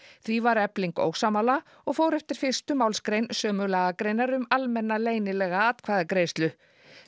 því var Efling ósammála og fór eftir fyrstu málsgrein sömu lagagreinar um almenna leynilega atkvæðagreiðslu